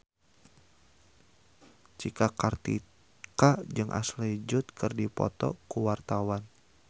Cika Kartika jeung Ashley Judd keur dipoto ku wartawan